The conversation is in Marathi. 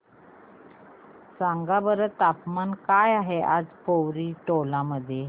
सांगा बरं तापमान काय आहे आज पोवरी टोला मध्ये